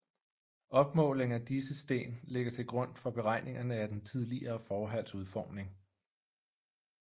Opmåling af disse sten ligger til grund for beregningerne af den tidligere forhals udformning